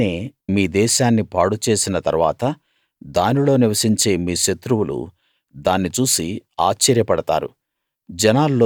నేనే మీ దేశాన్ని పాడు చేసిన తరువాత దానిలో నివసించే మీ శత్రువులు దాన్ని చూసి ఆశ్చర్యపడతారు